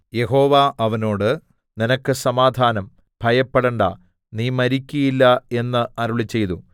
യഹോവ അവനോട് നിനക്ക് സമാധാനം ഭയപ്പെടേണ്ടാ നീ മരിക്കയില്ല എന്ന് അരുളിച്ചെയ്തു